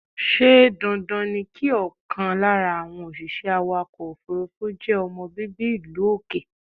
Ṣé dandan ni kí ọkàn lára àwọn òṣìṣẹ́ awàkọ̀ òfúrúfú je ọmọ bíbí ìlú òkè?